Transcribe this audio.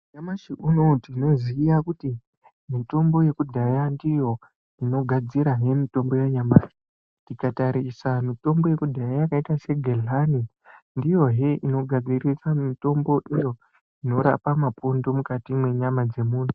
Nyamashi unowu tinoziya kuti mitombo yekudhaya ndiyo inogadzirahe mitombo yanyamashi .Tikatarisa mitombo yekudhaya yakaita segedhlani, ndiyohe inogadzirisa mitombo iyo inorapa mapundu mukati mwenyama dzemumuntu.